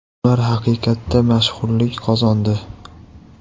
Ular haqiqatda mashhurlik qozondi.